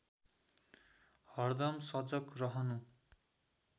हरदम सजग रहनु